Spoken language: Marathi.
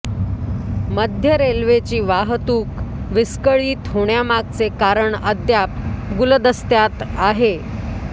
मध्य रेल्वेची वाहतूक विस्कळीत होण्यामागचे कारण अद्याप गुलदस्त्यात आहे